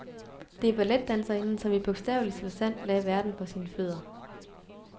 Det er balletdanserinden, som i bogstaveligste forstand lagde verden for sine fødder.